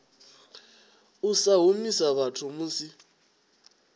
u sa humisa vhathu musi